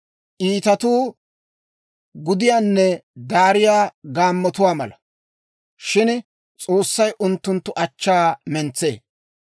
Iitatuu gudiyaanne daariyaa gaammotuwaa mala; shin S'oossay unttunttu achchaa mentsee.